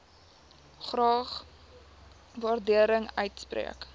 graag waardering uitspreek